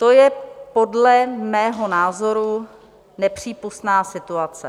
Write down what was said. To je podle mého názoru nepřípustná situace.